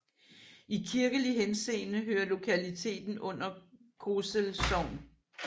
I kirkelig henseende hører lokaliteten under Kosel Sogn